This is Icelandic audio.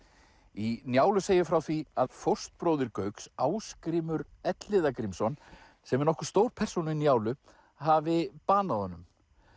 í Njálu segir frá því að fóstbróðir Gauks Ásgrímur Elliða Grímsson sem er nokkuð stór persóna í Njálu hafi banað honum